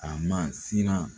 A ma siran